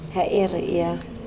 ha e re e a